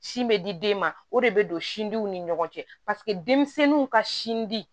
Sin bɛ di den ma o de bɛ don sindiw ni ɲɔgɔn cɛ paseke denmisɛnninw ka sin di